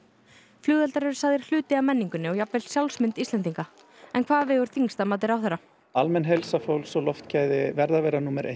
flugeldar eru sagðir hluti af menningu og jafnvel sjálfsmynd Íslendinga en hvað vegur þyngst að mati ráðherra almenn heilsa fólks og loftgæði verða að vera númer eitt